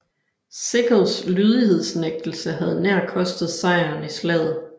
Sickles lydighedsnægtelse havde nær kostet sejren i slaget